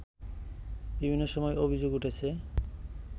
বিভিন্ন সময় অভিযোগ উঠেছে